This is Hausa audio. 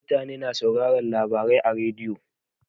Mutane na sauraron labarai a rediyo.